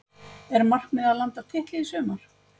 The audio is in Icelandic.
Er markmiðið að landa titli í sumar?